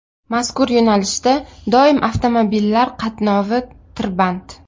Mazkur yo‘nalishda doim avtomobillar qatnovi tirband.